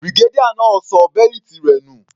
Brigadier náà ṣọ bẹ́lìtì rẹ̀ nù.